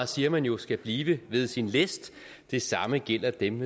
siger man jo skal blive ved sin læst det samme gælder dem